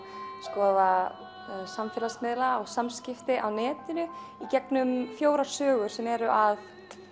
skoða samfélagsmiðla og samskipti á netinu í gegnum fjórar sögur sem eru að